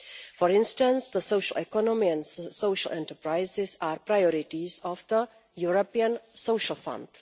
For instance, the social economy and social enterprises are priorities of the European Social Fund.